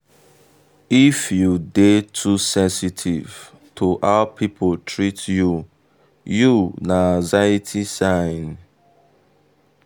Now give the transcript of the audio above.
if you dey too sensitive to how people treat you you na anxiety sign.